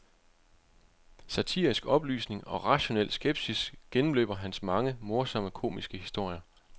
Satirisk oplysning og rationel skepsis gennemløber hans mange morsomme komiske historier.